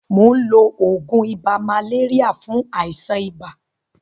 Mò ń lo oògùn ibà màléríà fún àìsàn ibà.